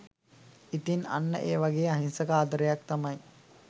ඉතිං අන්න ඒ වගේ අහිංසක ආදරයක් තමයි